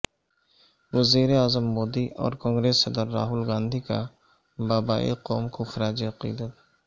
وزیر اعظم مودی اور کانگریس صدر راہل گاندھی کا بابائے قوم کو خراج عقیدت